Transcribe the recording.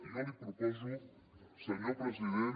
jo li proposo senyor president